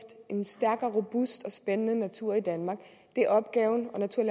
en stærk robust og spændende natur i danmark det er opgaven og natur